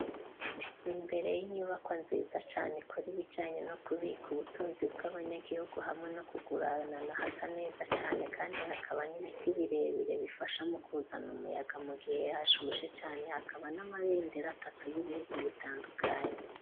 Imbere y'inyubakwa, nziza cane, ikora ibijanye, no kubika ubutunzi, bw'abanyagihugu, hamwe no kuguranana; hasa neza cane, kandi hakaba n'ibiti, birebire, bifasha mu kuzana umuyaga, mu gihe, hashushe cane; hakaba n'amabendera, atatu, y'ibihugu bitandukanye.